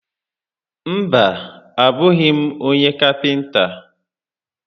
Mba, a bụghị m onye kapịnta